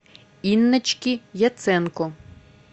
инночки яценко